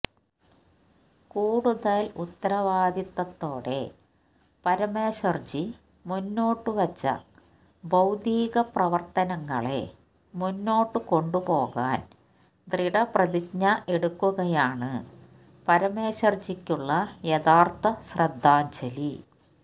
കൂടുതല് ഉത്തരവാദിത്തത്തോടെ പരമേശര്ജി മുന്നോട്ടു വച്ച ബൌദ്ധിക പ്രവര്ത്തനങ്ങളെ മുന്നോട്ട് കൊണ്ടുപോകാന് ദൃഢപ്രതിജ്ഞ എടുക്കുകയാണ് പരമേശ്വര്ജിക്കുള്ള യഥാര്ത്ഥ ശ്രദ്ധാഞ്ജലി